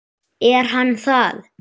Er hann það?